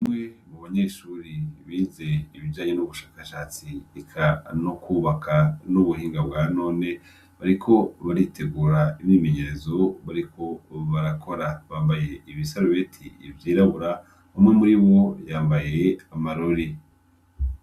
Umwe mu banyeshuri bize ibijanye n'ubushakashatsi ikano kwubaka n'ubuhinga bwa none bariko baritegura ibimenyerezo bariko barakora bambaye ibisarubeti ivyirabura bamwe muri wo yambaye amarori.